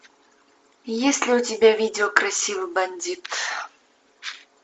есть ли у тебя видео красивый бандит